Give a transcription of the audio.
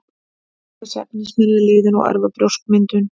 Þessi efni smyrja liðinn og örva brjóskmyndun.